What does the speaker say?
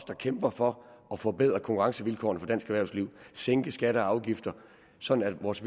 der kæmper for at forbedre konkurrencevilkårene for dansk erhvervsliv sænke skatter og afgifter sådan at vores